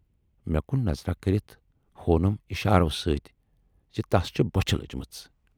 مے کُن نظراہ کٔرِتھ ہوونم اِشارو سۭتۍ زِ تس چھِ بۅچھِ لٔجمٕژ۔